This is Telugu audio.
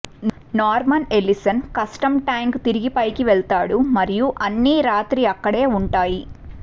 నార్మన్ ఎల్లిసన్ కష్టం ట్యాంక్ తిరిగి పైకి వెళ్తాడు మరియు అన్ని రాత్రి అక్కడ ఉంటాయి